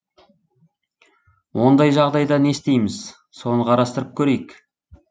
ондай жағдайда не істейміз соны қарастырып көрейік